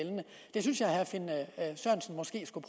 det synes jeg herre finn sørensen måske skulle